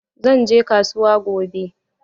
Zan je kasuwa gobe.